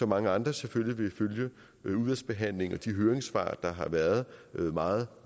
mange andre selvfølgelig vil følge udvalgsbehandlingen og de høringssvar der har været meget